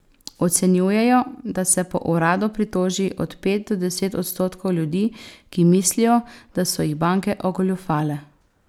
Ocenjujejo, da se po uradu pritoži od pet do deset odstotkov ljudi, ki mislijo, da so jih banke ogoljufale.